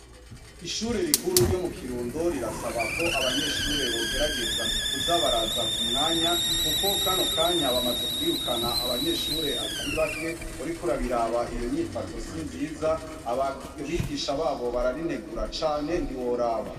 Ishure rikuru ryo mu kirundo rirasaba ko abanyeshure bogerageza kuzabaraza ku mwanya, kuko kano kanya bamaze kwirukana abanyeshure atari bake orikurabiraba iyo nyifato sinziza ababigisha babo bararinegura cane ntiworaba.